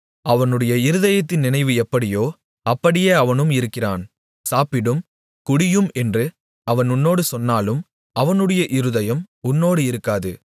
அவனுடைய இருதயத்தின் நினைவு எப்படியோ அப்படியே அவனும் இருக்கிறான் சாப்பிடும் குடியும் என்று அவன் உன்னோடு சொன்னாலும் அவனுடைய இருதயம் உன்னோடு இருக்காது